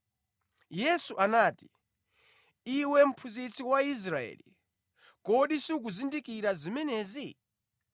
Yesu anati, “Iwe mphunzitsi wa Israeli, kodi sukuzindikira zimenezi?